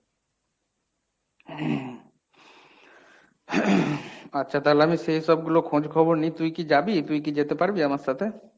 আচ্ছা তাহলে আমি সেইসবগুলো খোঁজখবর নিই। তুই কি যাবি তুই কি যেতে পারবি আমার সাথে?